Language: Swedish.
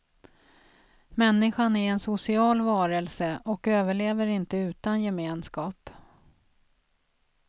Människan är en social varelse och överlever inte utan gemenskap.